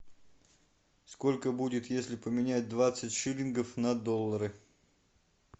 сколько будет если поменять двадцать шиллингов на доллары